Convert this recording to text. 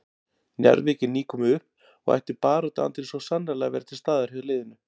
Njarðvík er nýkomið upp og ætti baráttuandinn svo sannarlega að vera til staðar hjá liðinu.